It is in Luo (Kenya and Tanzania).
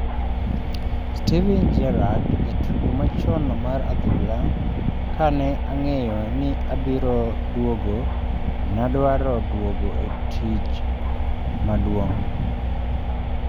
Steven Gerrard jatugo machon mar adhula "Kane ang'eyo ni abiro duogo, nadwaro duogo e tij maduong'.